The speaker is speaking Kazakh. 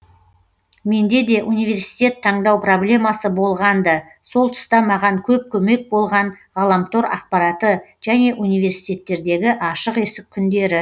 менде де университет таңдау проблемасы болған ды сол тұста маған көп көмек болған ғаламтор ақпараты және университеттердегі ашық есік күндері